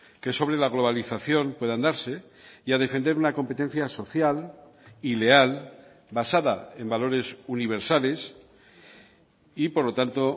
que sobre la globalización puedan darse y a defender una competencia social y leal basada en valores universales y por lo tanto